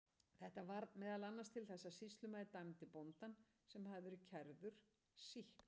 Þetta varð meðal annars til þess að sýslumaður dæmdi bóndann, sem hafði verið kærður, sýknan.